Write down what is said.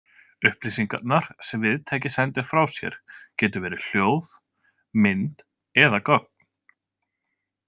Upplýsingarnar sem viðtæki sendir frá sér getur verið hljóð, mynd eða gögn.